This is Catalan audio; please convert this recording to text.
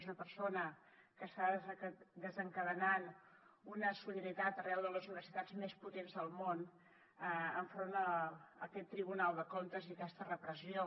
és una persona que està desencadenant una solidaritat arreu de les universitats més potents del món enfront aquest tribunal de comptes i aquesta repressió